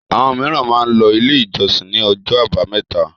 Àwọn mìíràn máa ń lọ Ilé-ìjọsìn ní ọjọ́ àbámẹ́ta.